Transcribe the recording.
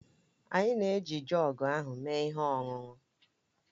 Anyị na-eji joọg ahụ mee ihe ọṅụṅụ